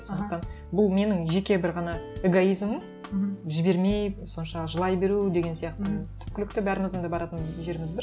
сондықтан бұл менің жеке бір ғана эгоизмім жібермей сонша жылай беру деген сияқты түпкілікті бәріміздің де баратын жеріміз бір